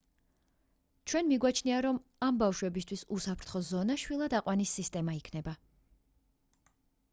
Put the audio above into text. ჩვენ მიგვაჩნია რომ ამ ბავშებისთვის უსაფრთხო ზონა შვილად აყვანის სისტემა იქნება